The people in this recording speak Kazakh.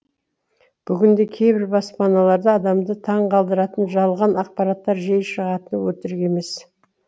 бүгінде кейбір баспаналарда адамды таңғалдыратын жалған ақпараттар жиі шығатыны өтірік емес